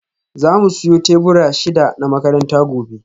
Za mu siyo tebura shida na makaranta gobe